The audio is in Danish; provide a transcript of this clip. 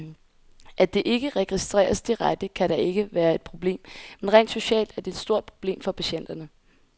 At det ikke registreres direkte, kan da ikke være et problem, men rent socialt er det et stort problem for patienterne.